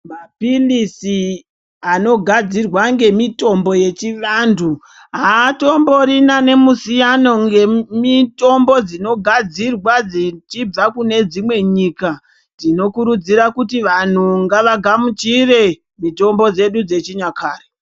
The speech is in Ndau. Maphilisi anogadzirwa ngemitombo yechivantu haatomborina nemusiyano ngemitombo dzinogadzirwa dzichibva kune dzimweni nyika. Tinokurudzira kuti vantu ngavagamuchire mitombo dzedu dzechinyakare.